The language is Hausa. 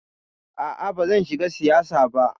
A'a bazan shiga siyasa ba.